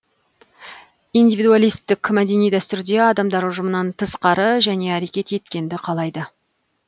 индивидуалистік мәдени дәстүрде адамдар ұжымнан тысқары және әрекет еткенді қалайды